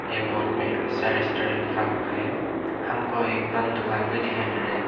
ये बोर्ड में आशा रेस्टोरेंट लिखा हुआ है हमको एक बंद दुकान भी दिखाई मिल रहा है।